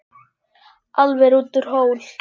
Álfur út úr hól.